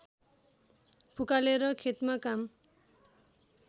फुकालेर खेतमा काम